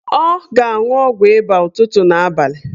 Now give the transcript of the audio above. Ọ ga-anwụ ọgwụ ịba a ụtụtụ na abalị